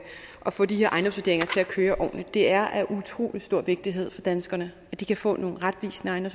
køre ordentligt det er af utrolig stor vigtighed for danskerne at de kan få nogle retvisende